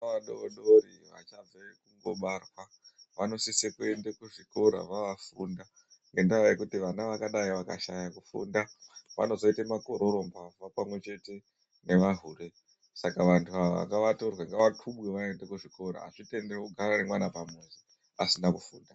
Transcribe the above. Vana vadodori bachangobva kubarwa vanosise kuende kuzvikora kuti vofunda ngenda yekuti vana vakadai vakashaya kufunda vanozita magororo mbavha pamwechete nemahure saka vantu ava ngavatorwe vaende kuzvikora azvitenderwi kugara nevana vasina kufunda .